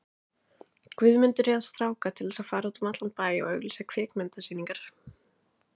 Guðmundur réð stráka til þess að fara út um allan bæ og auglýsa kvikmynda- sýningarnar.